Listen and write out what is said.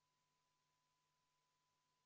Poolt 3, vastu 57 ja erapooletuid 2.